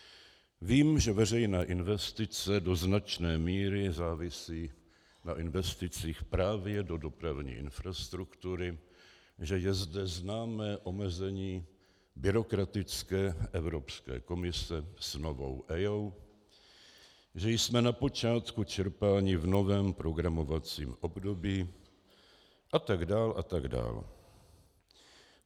Vím, že veřejné investice do značné míry závisí na investicích právě do dopravní infrastruktury, že je zde známé omezení byrokratické Evropské komise s novou EIA, že jsme na počátku čerpání v novém programovacím období, a tak dál a tak dál.